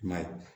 I ma ye